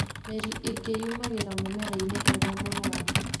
Mĩri ĩngĩ yumagĩra mũmerainĩ ũrĩa mũrũaru